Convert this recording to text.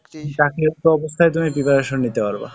চাকরিরত অবস্থায় তুমি preparation নিতে পারবা।